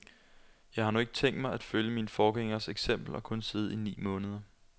Jeg har nu ikke tænkt mig at følge mine forgængeres eksempel og kun sidde i ni måneder.